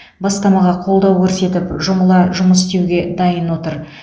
бастамаға қолдау көрсетіліп жұмыла жұмыс істеуге дайын отыр